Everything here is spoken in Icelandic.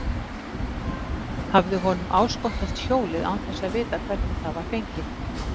Hafði honum áskotnast hjólið án þess að vita hvernig það var fengið?